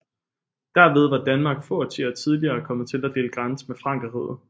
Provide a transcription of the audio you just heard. Derved var Danmark få årtier tidligere kommet til at dele grænse med Frankerriget